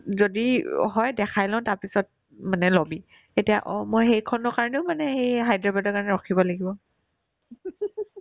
যদি অ হয় দেখাই লও তাৰপিছত মানে ল'বি এতিয়া অ মই সেইখনৰ কাৰণেও মানে সেই হায়দৰাবাদৰ কাৰণে ৰখিব লাগিব